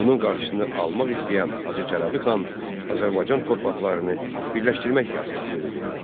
Bunun qarşısını almaq istəyən Hacı Çələvi xan Azərbaycan torpaqlarını birləşdirmək siyasəti yeridirdi.